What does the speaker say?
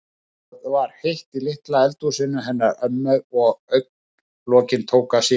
Það var heitt í litla eldhúsinu hennar ömmu og augna- lokin tóku að síga.